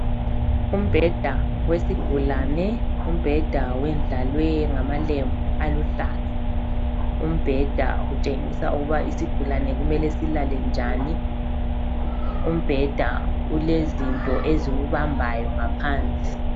Umbheda wesigulane. Umbheda wendlalwe ngamalembu aluhlaza. Umbheda utshengisa ukuba isigulane kumele silale njani. Umbheda ulezinto eziwubambayo ngaphansi.